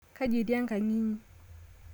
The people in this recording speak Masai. Kaji etii enkang' inyi